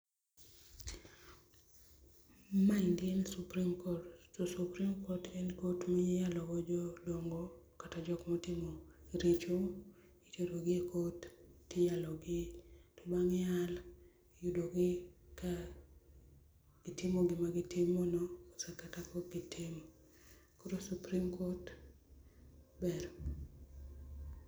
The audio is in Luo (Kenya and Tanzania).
Maendi en supreme court to supreme court en court miyalogo jodogo kata jok motimo richo. Iterogi e court tiyalogi. Bang' yalo gi iyudo ka gitimo gima gitimono kata ka ok gitimo.. Koro supreme court ber.